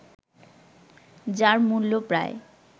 যার মূল্য প্রায়